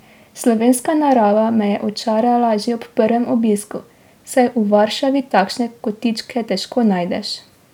Slovenska narava me je očarala že ob prvem obisku, saj v Varšavi takšne kotičke težko najdeš.